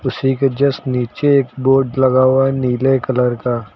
उसी के जस्ट नीचे एक बोर्ड लगा हुआ है नीले कलर का।